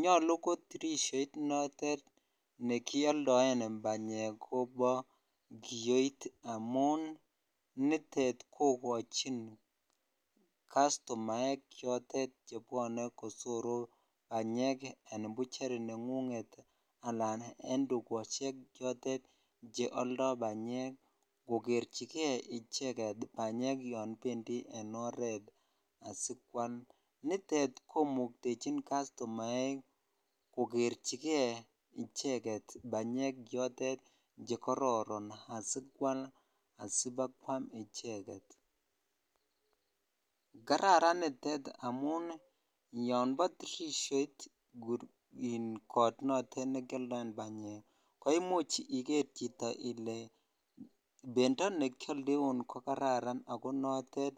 Nyolu ko tirishoit notet nekioldoen banyek kobo kiyoit amun nitet kokochin customaek chotet chebwone kosoru banyek en bucheri nengunget anan en tukoshe chotet cheoldo banyek kokerchike icheket banyek yoon bendi en oreet asikwal, nitet komuktechin customaek kokerchike icheket banyek chotet chekororon asikwal asibakwam icheket, kararan nitet amun yombo tirishoit koot notet nekioldoen banyek koimuch iker chito ilee bendo nekioldeun ko kararan ak ko notet